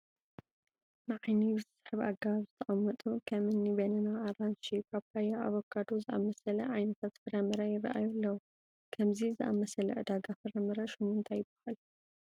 ንዓይኒ ብዝስሕብ ኣገባብ ዝተቐመጡ ከም እኒ በነና፣ ኣራንሺ፣ ፓፓየ፣ ኣቮካዶ ዝኣምሰለ ዓይነታት ፍረ ምረ ይርአዩ ኣለዉ፡፡ ከምዚ ዝኣምሰለ ዕዳጋ ፍረ ምረ ሽሙ ታይ ይበሃል?